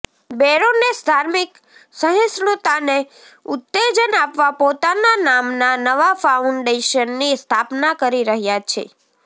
baroness ધાર્મિક સહિષ્ણુતાને ઉત્તેજન આપવા પોતાના નામના નવા ફાઉન્ડેશનની સ્થાપના કરી રહ્યાં છે